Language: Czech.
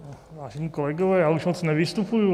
Vážení kolegové, já už moc nevystupuji.